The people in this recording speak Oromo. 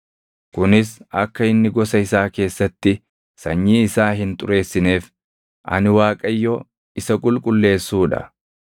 kunis akka inni gosa isaa keessatti sanyii isaa hin xureessineef. Ani Waaqayyo isa qulqulleessuu dha.’ ”